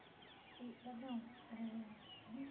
E, Adão eh, a gente.